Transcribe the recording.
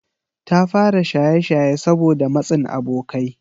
Ta fara shaye-shaye saboda matsin abokai.